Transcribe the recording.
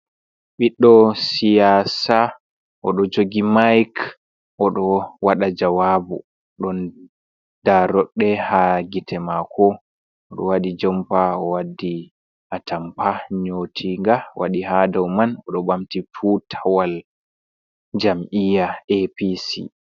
Ɓiɗɗo siyasa! Oɗo jogi mayik, oɗo waɗa jawaabu. Ɗon daaroɗɗe haa gite mako. Oɗo waɗi jompa o waddi atampa nƴotinga o waɗi ha dow man. Oɗo ɓamti tutawal jam'iya APC.